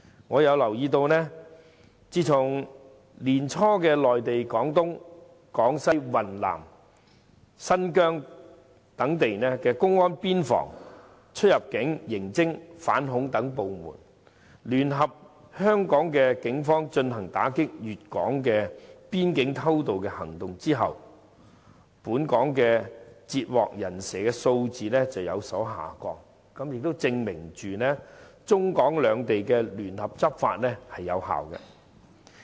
我留意到，自從年初內地廣東、廣西、雲南、新疆等地的公安邊防、出入境、刑偵、反恐等部門，聯合香港警方進行打擊粵港邊境偷渡的行動後，本港截獲"人蛇"的數字有所下降，證明中港兩地聯合執法有效。